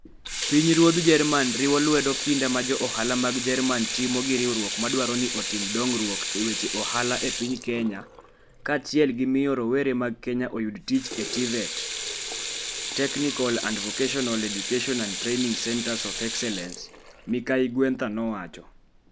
Pinyruodh Jerman riwo lwedo kinda ma jo ohala mag Jerman timo gi riwruok ma dwaro ni otim dongruok e weche ohala e piny Kenya kaachiel gi miyo rowere mag Kenya oyud tich e TVET (teknical and vocational education and training) centers of excellence, Ms. Guenther nowacho.